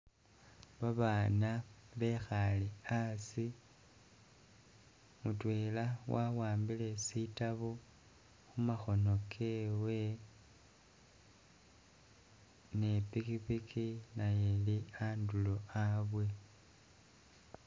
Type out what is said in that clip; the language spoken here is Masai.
Babana bekhale a'asi, mutwela wa wambile sitabu khumakhono kewe ne pikipiki nayo ili a'ndulo a'bwe